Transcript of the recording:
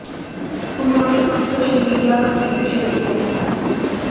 उन्होंने खुद social media पर वीडियो शेयर किया है